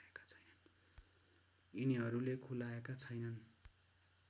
यिनीहरूले खुलाएका छैनन्